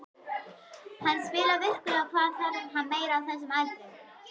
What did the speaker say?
Hann spilar vikulega, hvað þarf hann meira á þessum aldri?